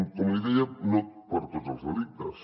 com li deia no per a tots els delictes